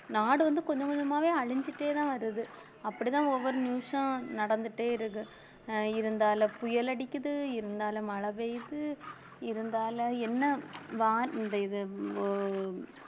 நாடு வந்து கொஞ்சம் கொஞ்சமாவே அழிஞ்சிட்டேதான் வருது அப்படித்தான் ஒவ்வொரு நிமிஷம் நடந்துட்டே இருக்கு அஹ் இருந்தாலும் புயல் அடிக்குது இருந்தாலும் மழை பெய்யுது இருந்தாலும் என்ன வ~ இந்த இது அஹ்